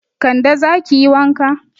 Kande, za ki yi wanka.